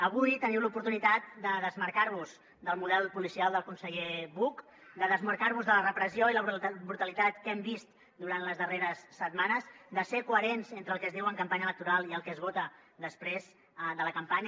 avui teniu l’oportunitat de desmarcar vos del model policial del conseller buch de desmarcar vos de la repressió i la brutalitat que hem vist durant les darreres setmanes de ser coherents entre el que es diu en campanya electoral i el que es vota després de la campanya